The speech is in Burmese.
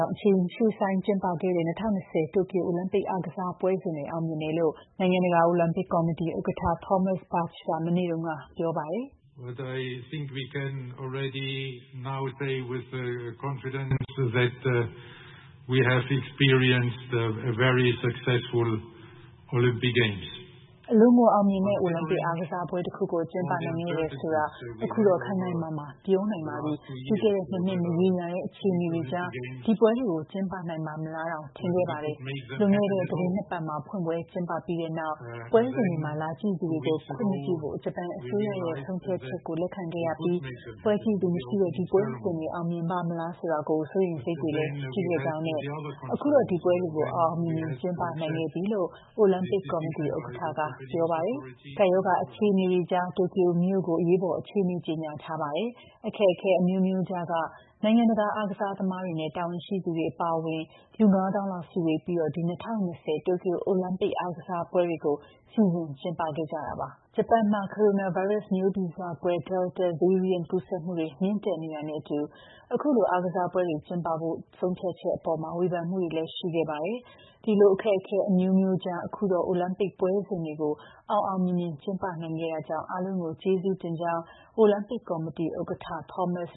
ောင့် အချိန်ရွှေ့ဆိုင်းကျင်းပခဲ့တဲ့ ၂၀၂၀ တိုကျိုအိုလံပစ်အားကစားပွဲစဉ်တွေ အောင်မြင်တယ်လို့ နိုင်ငံတကာ အိုလံပစ် ကော်မတီ ဥက္ကဋ္ဌ Thomas Bach က မနေ့တုန်းက ပြောပါတယ်။ “အလွန်ကိုအောင်မြင်တဲ့ အိုလံပစ်အားကစားပွဲတခုကိုကျင်းပနိုင်ခဲ့တယ်ဆိုတာ ကျနော်တို့ အခုတော့ ခိုင်ခိုင်မာမာပြောနိုင်ပါပြီ။ ပြီးခဲ့တဲ့ ၂ နှစ် မရေရာတဲ့ အခြေအနေတွေကြားမှာ ဒီပွဲတွေကို ကျင်းပနိုင်ပါ့မလားတောင် ထင်ခဲ့ကြတာပါ။ လွန်ခဲ့တဲ့ သီတင်းနှစ်ပတ်မှာ ဖွင့်ပွဲကျင်းပခဲ့ပြီးတဲ့နောက်လည်း ပွဲစဉ်တွေမှာ လာကြည့်တဲ့သူတွေကိုခွင့်မပြုဖို့ ဂျပန်အစိုးရရဲ့ဆုံးဖြတ်ချက်ကို လက်ခံခဲ့ပြီးတဲ့နောက် ပွဲကြည့်သူမရှိတဲ့ ဒီပွဲစဉ်တွေအောင်မြင်ပါ့မလား စိုးရိမ်စိတ်တွေရှိခဲ့ကြပါတယ်။ အခုတော့ ဒီပွဲတွေကို အောင်အောင်မြင်မြင်ကျင်းပနိုင်ခဲ့ပြီ”...လို့ အိုလံပစ်ကော်မတီ ဥက္ကဋ္ဌ Thomas Bach ကပြောပါတယ်။ ကပ်ရောဂါ အခြေအနေတွေကြား တိုကျိုမြို့ကို အရေးပေါ်အခြေအနေကြေညာထားတာပါ။ အခက်အခဲအမျိုးမျိုးကြားက နိုင်ငံတကာ အားကစားသမားတွေနဲ့ တာဝန်ရှိသူတွေအပါအဝင် လူ ၅ သောင်းလောက် စုဝေးပြီး ဒီ ၂၀၂၀ တိုကျိုအိုလံပစ်အားကစားပွဲတွေကို စီစဉ်ကျင်းပခဲ့ကြပါတယ် ဂျပန်မှာ ကိုရိုနာမျိုးဗီဇကွဲ Delta variant ကူးစက်မှုတွေ မြင့်တက်နေတာနဲ့အတူ အခုလို အားကစားပွဲတွေကျင်းပဖို့ ဆုံးဖြတ်ချက်အပေါ် ဝေဖန်မှုတွေလည်း ရှိခဲ့တာပါ။ ဒီလို အခက်အခဲအမျိုးမျိုးကြား အခုတော့ အိုလံပစ်ပွဲစဉ်တွေကို အောင်အောင်မြင်မြင်ကျင်းပနိုင်ခဲ့တာကြောင့် အားလုံးကိုကျေးဇူးတင်ကြောင်းအိုလံပစ် ကော်မတီ ဥက္ကဌ Thomas